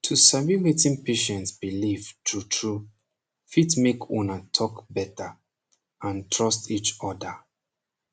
to sabi wetin patient belief trutru fit make una talk beta and trust each oda